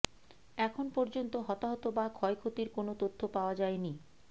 এখন পর্যন্ত হতাহত বা ক্ষয়ক্ষতির কোনো তথ্য পাওয়া যায়নি